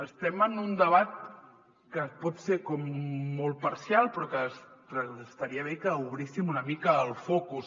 estem en un debat que pot ser com molt parcial però que es·taria bé que obríssim una mica el focus